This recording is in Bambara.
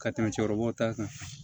Ka tɛmɛ cɛkɔrɔbaw ta kan